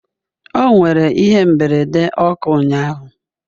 O nwere ihe mberede ọkụ ụnyahụ